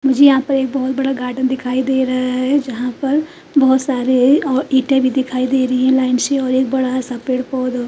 जी यहाँ पर एक बहुत बड़ा गार्डन दिखाई दे रहा है जहां पर बहुत सारे अ इटे भी दिखाई दे रही है लाइन से और एक बहुत बड़ा पेड़ पौध अ --